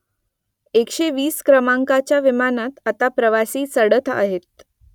एकशे वीस क्रमांकाच्या विमानात आता प्रवासी चढत आहेत